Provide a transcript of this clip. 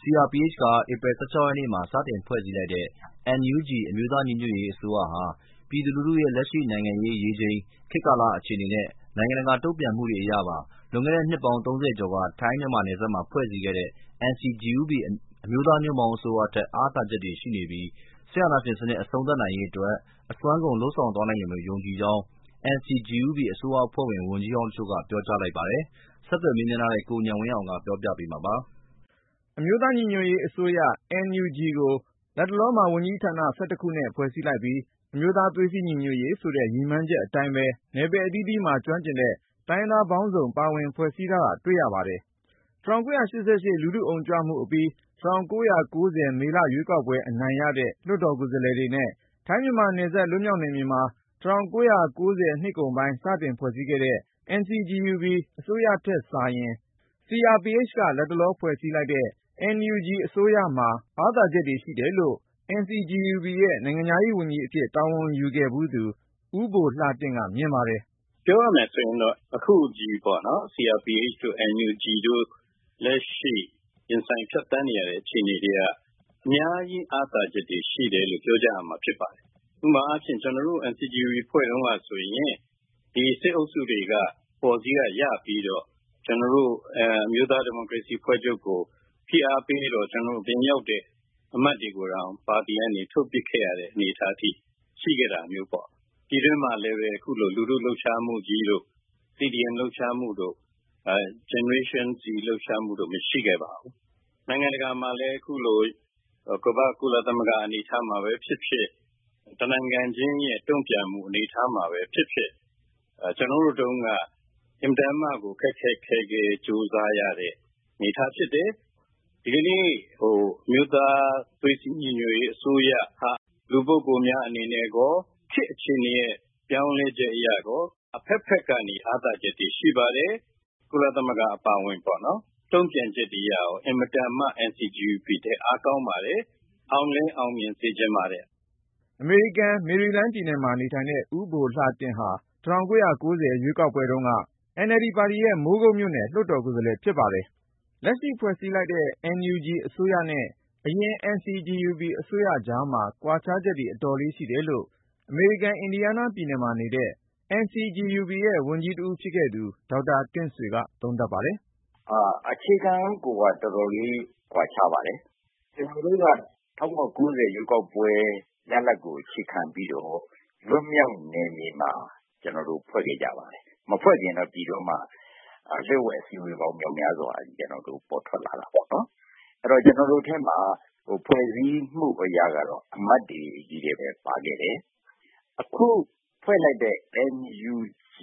CRPH က ဧပြီလ ရက်နေ့မှာ စတင်ဖွဲ့စည်းလိုက်တဲ့ NUG အမျိုးသား ညီညွတ်ရေးအစိုးရဟာ ပြည်သူလူထုရဲ့ လက်ရှိ နိုင်ငံရေးရေချိန်၊ခေတ်ကာလ အခြေအနေနဲ့ နိုင်ငံတကာရဲ့တုန့်ပြန်မှုတွေ အရပါလွန်ခဲ့တဲ့ နှစ် ကျော် ထိုင်းမြန်မာနယ်စပ်မှာ ဖွဲ့စည်းခဲ့တဲ့ NCGUB အမျိုးသားညွန့်ပေါင်းအစိုးရထက် အားသာချက်တွေ ရှိပြီး ၊ စစ်အာဏာရှင်စနစ် အဆုံးသတ်နိုင်ရေးအတွက် အစွမ်းကုန် လုပ်ဆောင်သွားနိုင်လိမ့်မယ်လို့ ယုံကြည်ကြောင်း NCGUB အစိုးရအဖွဲ့ဝင် ဝန်ကြီးဟောင်းတချို့က ပြောကြားလိုက်ပါတယ်။ ဆက်သွယ်မေးမြန်းထားတဲ့ ကိုဉာဏ်ဝင်းအောင်က ပြောပြမှာပါ။ အမျိုးသား ညီညွတ်ရေးအစိုးရ NUG ကို လတ်တလောမှာ ဝန်ကြီးဌာန ခုနဲ့ ဖွဲ့စည်းလိုက်ပြီး အမျိုးသားသွေးစည်းညီညွတ်ရေး ဆိုတဲ့ ရည်မှန်းချက်အတိုင်းပဲ နယ်ပယ်အသီးသီးမှာ ကျွမ်းကျင်တဲ့ တိုင်းရင်းသားပေါင်းစုံ ပါဝင် ဖွဲ့စည်းထားတာ တွေ့ရပါတယ်။ ၁၉၈၈ လူထုအုံကြွမှုအပြီး ၁၉၉၀ မေလ ရွေးကောက်ပွဲ အနိုင်ရတဲ့ လွှတ်တော်ကိုယ်စားလှယ်တွေနဲ့ ထိုင်းမြန်မာနယ်စပ် လွတ်မြောက်နယ်မြေမှာ ၁၉၉၀ နှစ်ကုန်ပိုင်း စတင်ဖွဲ့စည်းခဲ့တဲ့ NCGUB အစိုးရထက်စာရင် CRPH က လတ်တလော ဖွဲ့စည်းလိုက်တဲ့ NUG အစိုးရမှာ အားသာချက်တွေရှိတယ်လို့ NCGUB ရဲ့ နိုင်ငံခြားရေးဝန်ကြီးအဖြစ် တာဝန်ယူခဲ့ဖူးသူ ဦးဘိုလှတင့်က မြင်ပါတယ်။ “ ပြောရမယ်ဆိုရင်တော့ အခုဖွဲ့ထားတဲ့ CRPH တို့ NUG တို့ လက်ရှိ ရင်ဆိုင်ဖြတ်သန်းနေရတဲ့ အခြေအနေတွေက အများကြီး အားသာချက်တွေ ရှိတယ်လို့ ပြောရမှာ ဖြစ်ပါတယ်။ ဥပမာအားဖြင့် ကျနော်တို့ NCGUB ဖွဲ့တုန်းကဆိုရင် ဒီစစ်အုပ်စုတွေက အပေါ်စီးက ရပြီးတော့၊ ကျနော်တို့ အမျိုးသားဒီမိုကရေစီ အဖွဲ့ချုပ်ကို ဖိအားပေးတော့ ကျနော်တို့ အပြင်ရောက်လာတဲ့ အမတ်တွေကိုတောင် ပါတီကနေ ထုတ်ပစ်ခဲ့ရတဲ့ အနေအထားအထိ ရှိခဲ့တာမျိုးပေါ့။ ပြည်တွင်းမှာလည်းပဲ အခုလို လူထု လှုပ်ရှားမှုကြီးတို့ ၊ CDM လှုပ်ရှားမှုတို့ ၊ Gen Z တို့ရဲ့ လှုပ်ရှားမှုမျိုး ဟိုတချိန်က မရှိခဲ့ပါဘူး။ နိုင်ငံတကာမှာလည်း ခုလို ကုလသမဂ္ဂ အနေအထားမှာပဲဖြစ်ဖြစ် ၊ တနိုင်ငံချင်းရဲ့ တုန့်ပြန်မှု အနေအထားမှာပဲ ဖြစ်ဖြစ် ကျနော်တို့တုန်းက အင်မတန်မှကို ခက်ခက်ခဲခဲ ကြိုးစားရတဲ့ အနေအထားဖြစ်တယ်။ ဒီကနေ့ အမျိုးသား သွေးစည်းညီညွတ်ရေးအစိုးရ ဟာ လူပုဂ္ဂိုလ်များ အနေနဲ့ရော၊ ခေတ်အခြေအနေ ပြောင်းလဲချက်အရပါ အဖက်ဖက်ကနေ အားသားချက်တွေ ရှိပါတယ်။ ကုလသမဂ္ဂအပါအဝင် နိုင်ငံတကာ တုန့်ပြန်ချက်တွေကလည်း ကျနော်တို့ NCGUB ထက် အားကောင်းပါတယ်။ အောင်လည်း အောင်မြင်စေချင်ပါတယ်။” အမေရိကန်ပြည်ထောင်စု မေရီလန်းပြည်နယ်မှာ နေထိုင်တဲ့ ဦးဘိုလှတင့်ဟာ ၁၉၉၀ ရွေးကောက်ပွဲတုန်းက NLD ပါတီရဲ့ မိုးကုတ်မြို့နယ် လွှတ်တော်ကိုယ်စားလှယ် ဖြစ်ပါတယ်။ လက်ရှိဖွဲ့စည်းလိုက်တဲ့ NUG အစိုးရနဲ့ အရင် NCGUB အစိုးရကြားမှာ ကွာခြားချက်တွေ အတော်လေးရှိတယ်လို့ အမေရိကန်နိုင်ငံ အင်ဒီယားနားပြည်နယ်မှာ နေတဲ့ NCGUB ရဲ့ဝန်ကြီးတဦး ဖြစ်ခဲ့သူ ဒေါက်တာ တင့်ဆွေက သုံးသပ်ပါတယ်။ “ အခြေခံကိုက တော်တော်လေး ကွာခြားပါတယ်။ ကျနော်တို့က ၁၉၉၀ ရွေးကောက်ပွဲ ရလဒ်ကို အခြေခံပြီးတော့ လွတ်မြောက်နယ်မြေမှာ ကျနော်တို့ ဖွဲ့စည်းခဲ့ကြပါတယ်။ မဖွဲ့ခင်တော့ ပြည်တွင်းမှာ လျှို့ဝှက် အစည်းအဝေးပေါင်း မြောက်များစွာ ရှိခဲ့တာပေါ့နော်။ ကျနော်တို့ NCGUB ထဲမှာ ဖွဲ့စည်းမှုအရက အမတ်တွေချည်းပဲ ပါခဲ့တယ်။ အခုဖွဲ့လိုက်တဲ့ NUG